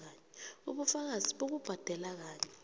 ubufakazi bokubhadela kanye